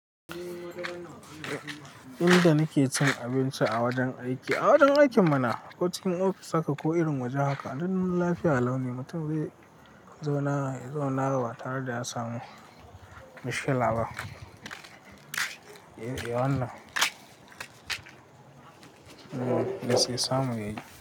Inda nake cin abinci a wajen aiki, a wajen aikin mana cikin ofis haka ko irin waje haka, duk lafiya laune mutum yazauna ya zauna batare da ya samu matsala bah Eh, yawanna. Eh, me su samu yayi.